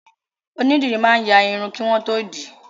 Onídìrí máa ń ya Irun kí wọ́n tó dì í